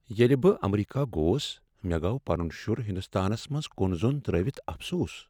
ییٚلہ بہٕ امریکہ گوس، مےٚ گوٚو پنن شُر ہندوستانس منٛز کُن زۄن ترٲوتھ افسوٗس ۔